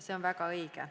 See on väga õige.